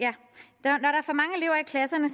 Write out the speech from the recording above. klasserne